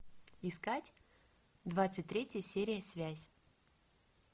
искать двадцать третья серия связь